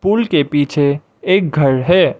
Pool के पीछे एक घर है।